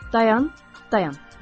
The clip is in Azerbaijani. Dayan, dayan.